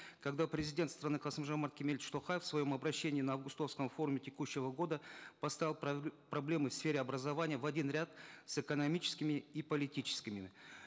когда президент страны касым жомарт кемелевич токаев в своем обращении на августовском форуме текущего года поставил проблемы в сфере образования в один ряд с экономическими и политическими